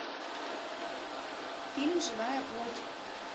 фильм живая плоть